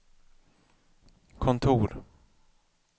kontor